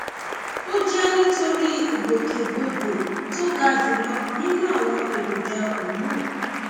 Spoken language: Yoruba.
ó jẹ nítorí ìgbòkègbodò tó ga jùlọ nínú àwọn èròjà hormone